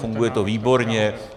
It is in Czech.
Funguje to výborně.